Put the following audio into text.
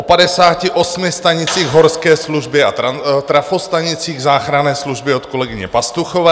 O 58 stanicích Horské služby a trafostanicích záchranné služby od kolegyně Pastuchové.